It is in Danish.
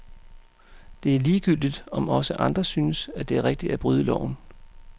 Det er ligegyldigt, om også andre synes, at det er rigtigt at bryde loven.